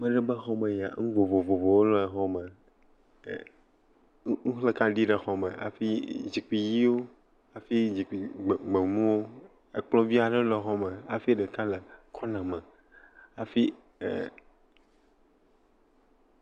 Ma ɖe ƒe xɔmee ya. Nu vovovowo le xɔme. ɛɛ, nuxlẽkaɖi le xɔme hafi zikpi yiwo, hafi zikpi gbe, gbemuwo. Ekplɔ̃ vi aɖe le xɔme hafi ɖeka le kɔna me, hafi ɛɛ.